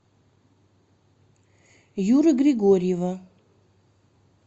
юры григорьева